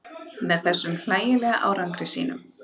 Með þessum hlægilega árangri sínum.